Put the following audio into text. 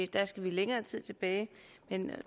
der skal vi længere tid tilbage